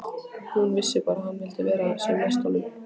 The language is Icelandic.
Hún vissi bara að hún vildi vera sem næst honum.